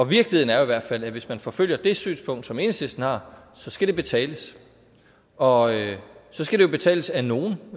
virkeligheden er jo i hvert fald at hvis man forfølger det synspunkt som enhedslisten har så skal det betales og så skal det betales af nogen